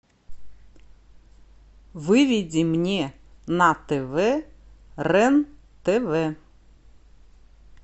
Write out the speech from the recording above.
выведи мне на тв рен тв